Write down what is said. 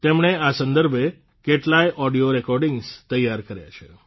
તેમણે આ સંદર્ભે કેટલાય ઓડિયો રેકોર્ડિંગ્સ તૈયાર કર્યા છે